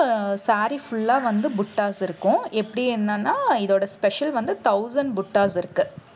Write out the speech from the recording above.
saree full ஆ வந்து buttas இருக்கும். எப்படி என்னன்னா இதோட special வந்து thousand buttas இருக்கு.